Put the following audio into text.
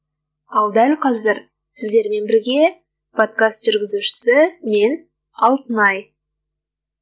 ал дәл қазір сіздермен бірге подкаст жүргізушісі мен алтынай